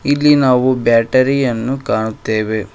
ಇಲ್ಲಿ ನಾವು ಬ್ಯಾಟರಿ ಯನ್ನು ಕಾಣುತ್ತೇವೆ.